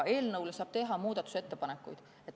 Eelnõu kohta saab teha muudatusettepanekuid.